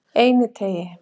Einiteigi